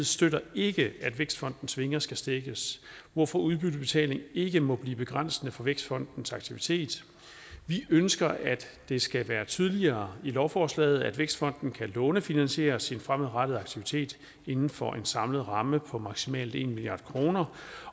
støtter ikke at vækstfondens vinger skal stækkes hvorfor udbyttebetaling ikke må blive begrænsende for vækstfondens aktivitet vi ønsker at det skal være tydeligere i lovforslaget at vækstfonden kan lånefinansiere sin fremadrettede aktivitet inden for en samlet ramme på maksimalt en milliard kr